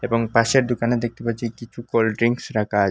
এবং পাশের দোকানে দেখতে পাচ্ছি কিছু কোল্ড্রিঙ্কস রাখা আ--